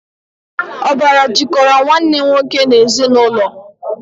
Ọbara jikọrọ Nwanne nwoke n'ezinụlọ